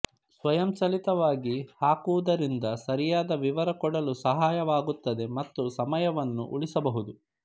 ಸ್ವಯಂಚಾಲಿತವಾಗಿ ಹಾಕುವುದರಿಂದ ಸರಿಯಾದ ವಿವರ ಕೊಡಲು ಸಹಾಯವಾಗುತ್ತದೆ ಮತ್ತು ಸಮಯವನ್ನೂ ಉಳಿಸಬಹುದು